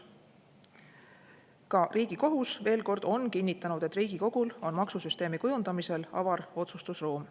Ka Riigikohus, veel kord, on kinnitanud, et Riigikogul on maksusüsteemi kujundamisel avar otsustusruum.